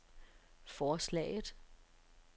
forslaget